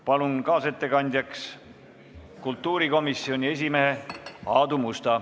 Palun kaasettekandjaks kultuurikomisjoni esimehe Aadu Musta.